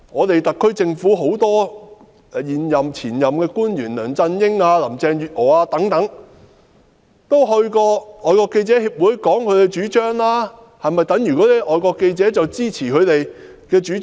特區政府很多現任和前任的官員，包括梁振英、林鄭月娥等，也到過外國記者會發表其主張，這是否等於外國記者會支持他們的主張？